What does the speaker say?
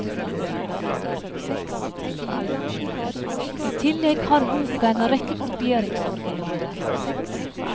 I tillegg har boka en rekke kopieringsoriginaler.